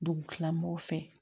Dugu kila mɔgɔw fɛ